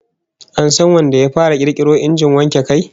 An san wanda ya fara kirkiro injin wanke kai?